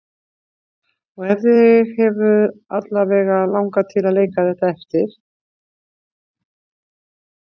En þig hefur alla vega langað til að leika þetta eftir?